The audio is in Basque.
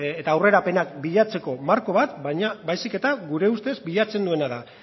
eta aurrerapenak bilatzeko marko bat baizik eta gure ustez bilatzen duena da